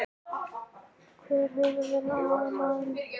Hver hefur verið aðalmaðurinn?